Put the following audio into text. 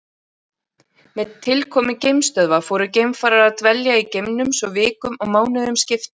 Með tilkomu geimstöðva fóru geimfarar að dvelja í geimnum svo vikum og mánuðum skipti.